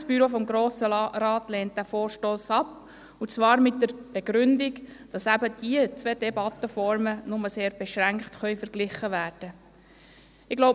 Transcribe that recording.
Das Büro des Grossen Rates lehnt diesen Vorstoss ab, und zwar mit der Begründung, dass diese zwei Debattenformen eben nur sehr beschränkt miteinander verglichen werden können.